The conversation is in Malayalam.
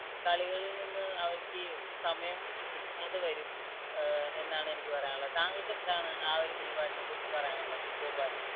കളികളിൽ നിന്ന് അവർക്ക് സമയം കിട്ടാതെ വരും അഹ് എന്നാണ് എനിക്ക് പറയാനുള്ളത്. താങ്കൾക്ക് എന്താണ് ആ ഒരു നിലപാടിനെ കുറിച്ച് പറയാനുള്ളത് ഗോപാൽ?